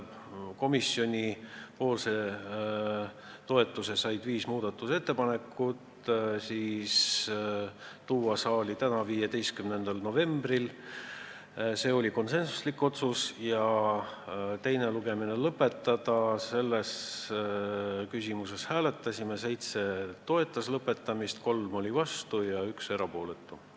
Komisjoni toetuse sai viis muudatusettepanekut, otsustati tuua eelnõu saali tänaseks, 15. novembriks ja teise lugemise lõpetamise küsimuses hääletasime nii: 7 toetas, 3 oli vastu ja 1 erapooletu.